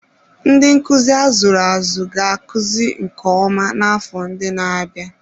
Ndị nkuzi a zụrụ azụ ga-akụzi nke ọma n'afọ ndị na-abịa.